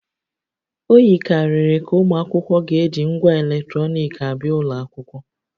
O yikarịrị ka ụmụ akwụkwọ ga-eji ngwa eletrọnịkị abịa ụlọ akwụkwọ